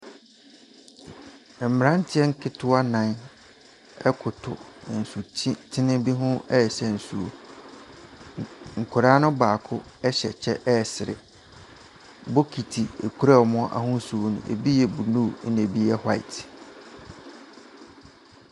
Mmranteɛ nkitewa nan koto nsutene bi ho resa nsuo. Nkwaraa no baako nyɛ kye resere. Bokiti a ekura wɔn no ahosu no ebi yɛ blue, na ebi yɛ white.